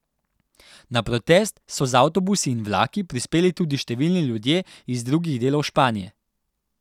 Na protest so z avtobusi in vlaki prispeli tudi številni ljudje iz drugih delov Španije.